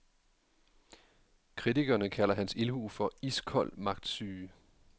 Kritikerne kalder hans ildhu for iskold magtsyge.